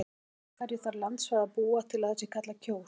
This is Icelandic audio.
Yfir hverju þarf landsvæði að búa til að það sé kallað Kjós?